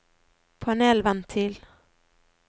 panelventil